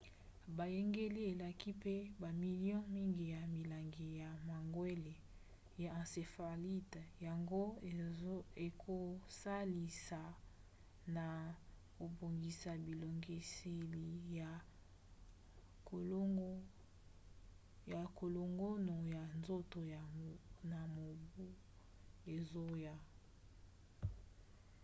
boyangeli elaki mpe bamilio mingi ya milangi ya mangwele ya encéphalite yango ekosalisa na kobongisa bibongiseli ya kolongono ya nzoto na mobu ezoya